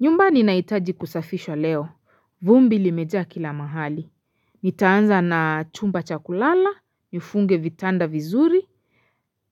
Nyumba ninahitaji kusafishwa leo. Vumbi limejaa kila mahali. Nitaanza na chumba cha kulala, nifunge vitanda vizuri.